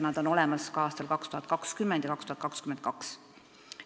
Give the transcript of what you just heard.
Raha on olemas ka aastateks 2020 ja 2022.